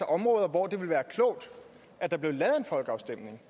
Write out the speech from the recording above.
områder hvor det vil være klogt at der bliver lavet en folkeafstemning